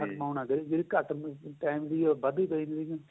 ਜਿਹੜੀ ਘੱਟ time ਦੀ ਏ ਉਹ ਵੱਧ ਦੀ ਪੇ ਜਾਂਦੀ ਏ